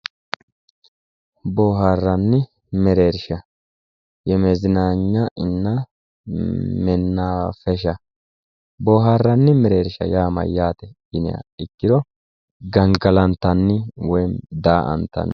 Booharanni mereersha yemezinanyanna ena booharanni mereersha yaa mayate yinniha ikkiro gangallattanni woyimi da"aattanni